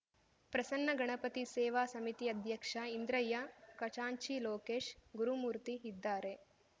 ಪ್ರಸನ್ನ ಗಣಪತಿ ಸೇವಾ ಸಮಿತಿ ಅಧ್ಯಕ್ಷ ಇಂದ್ರಯ್ಯ ಖಚಾಂಚಿ ಲೋಕೇಶ್‌ ಗುರುಮೂರ್ತಿ ಇದ್ದಾರೆ